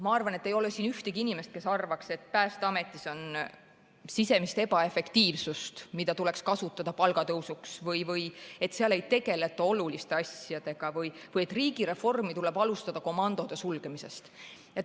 Ma arvan, et siin ei ole ühtegi inimest, kes arvaks, et Päästeametis on sisemist ebaefektiivsust, mida saaks kasutada palgatõusuks, või et seal ei tegeleta oluliste asjadega või et riigireformi tuleb alustada komandode sulgemisest.